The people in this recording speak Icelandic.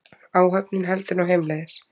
Áhöfnin heldur nú heimleiðis